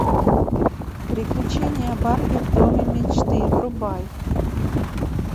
приключения барби в доме мечты врубай